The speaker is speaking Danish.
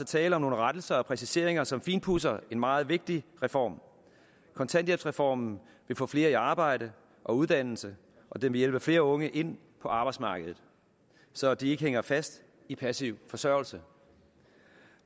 tale om nogle rettelser og præciseringer som finpudser en meget vigtig reform kontanthjælpsreformen vil få flere i arbejde og uddannelse og den vil hjælpe flere unge ind på arbejdsmarkedet så de ikke hænger fast i passiv forsørgelse